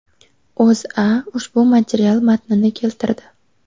O‘zA ushbu material matnini keltirdi .